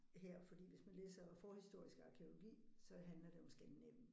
Her fordi hvis man læser forhistorisk arkæologi så handler det om Skandinavien